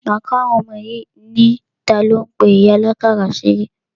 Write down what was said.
Máa kọ́ àwọn ọmọ yìí ní, talo ń pe ìyá àlákàrà ṣeré?